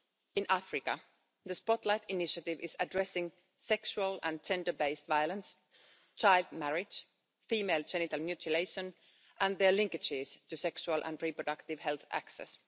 In Africa, the spotlight initiative is addressing sexual and gender based violence, child marriage, female genital mutilation and their linkages to sexual and reproductive health access.